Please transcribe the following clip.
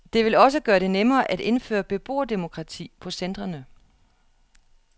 Det vil også gøre det nemmere at indføre beboerdemokrati på centrene.